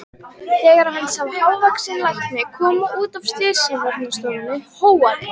Þegar hann sá hávaxinn lækni koma út af slysavarðstofunni hóaði